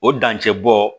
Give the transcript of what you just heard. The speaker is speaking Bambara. O dancɛ bɔ